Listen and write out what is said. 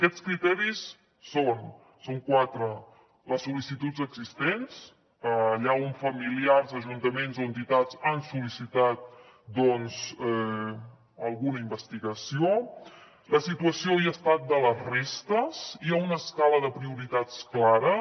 aquests criteris són quatre les sol·licituds existents allà on familiars ajuntaments o entitats han sol·licitat doncs alguna investigació la situació i estat de les restes hi ha una escala de prioritats clares